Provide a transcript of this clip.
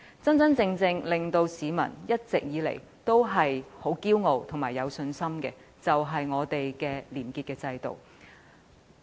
真真正正令香港市民一直以來感到自豪及有信心的，就是本港的廉潔制度。